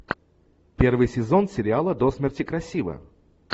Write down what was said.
первый сезон сериала до смерти красива